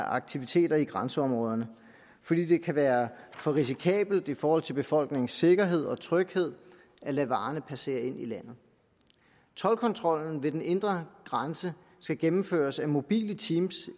aktiviteter i grænseområderne fordi det kan være for risikabelt i forhold til befolkningens sikkerhed og tryghed at lade varerne passere ind i landet toldkontrollen ved den indre grænse skal gennemføres af mobile team